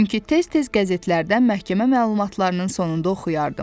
Çünki tez-tez qəzetlərdən məhkəmə məlumatlarının sonunda oxuyardım.